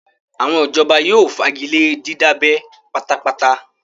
Àwọn ìjọba yóò fagilé dídábẹ́ pátá pátá